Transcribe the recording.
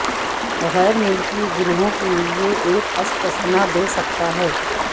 غیر ملکی گروہوں کے لئے ایک استثنا دے سکتا ہے